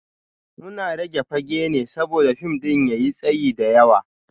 Muna rage fage ne saboda fim ɗin ya yi tsayi da yawa